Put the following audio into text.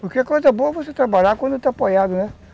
Porque a coisa boa é você trabalhar quando está apoiado, né?